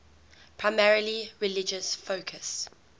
primarily religious focus